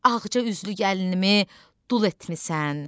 Ağca üzlü gəlinimi dul etmisən.